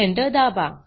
Enter दाबा